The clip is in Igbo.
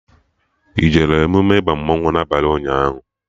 Ị jee emume ịba mmanwụ na abalị ụnyaahụ?